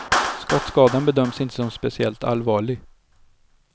Skottskadan bedöms inte som speciellt allvarlig.